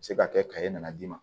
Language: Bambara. Se ka kɛ ka e nana d'i ma